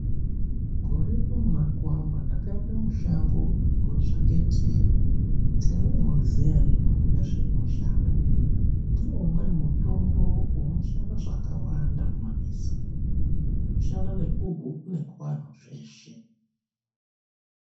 Gore rino munakuwamba ndakaende mushango kunotswake teu. Teu munoriziya ere imi nezvarinoshanda? Ndiwo umweni mutombo unoshanda zvakawanda mumamizi umu, kushanda nekuhuku nekuvantu zveshe.